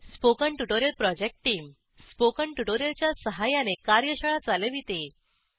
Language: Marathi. spoken tutorial project team spoken tutorial च्या सहाय्याने कार्यशाळा चालविते